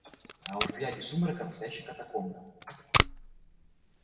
а уж глядя из сумрака настоящая катакомба